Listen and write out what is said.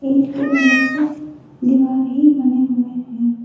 ईंट के मदद से दीवार ही बने हुए हैं।